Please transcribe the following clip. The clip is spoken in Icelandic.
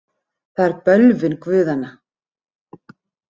Það er bölvun guðanna.